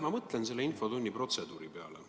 Ma mõtlen selle infotunni protseduuri peale.